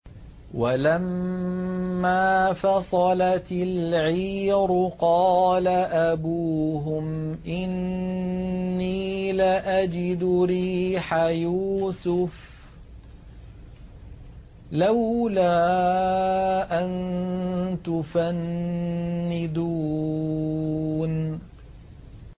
وَلَمَّا فَصَلَتِ الْعِيرُ قَالَ أَبُوهُمْ إِنِّي لَأَجِدُ رِيحَ يُوسُفَ ۖ لَوْلَا أَن تُفَنِّدُونِ